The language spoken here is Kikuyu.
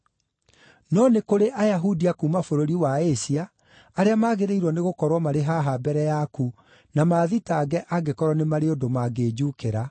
No nĩ kũrĩ Ayahudi a kuuma bũrũri wa Asia arĩa magĩrĩirwo nĩgũkorwo marĩ haha mbere yaku na maathitange angĩkorwo nĩ marĩ ũndũ mangĩnjuukĩra.